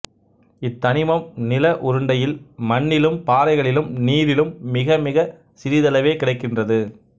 இத் தனிமம் நில உருண்டையில் மண்ணிலும் பாறைகளிலும் நீரிலும் மிகமிகச் சிறிதளவே கிடைக்கின்றது